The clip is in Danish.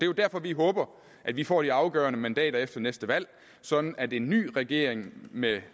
jo derfor vi håber at vi får de afgørende mandater efter næste valg sådan at en ny regering med